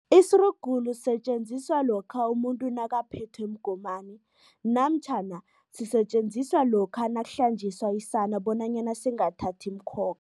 Isirugulu sisetjenziswa lokha umuntu nakaphethwe mgomani namtjhana sisetjenziswa lokha nakuhlanjiswa isana bonanyana singathathi imikhokha.